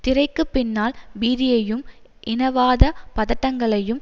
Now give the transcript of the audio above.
திரைக்கு பின்னால் பீதியையும் இனவாத பதட்டங்களையும்